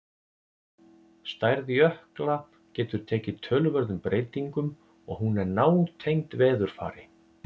Stærð jökla getur tekið töluverðum breytingum og hún er nátengd veðurfari.